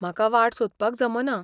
म्हाका वाट सोदपाक जमना.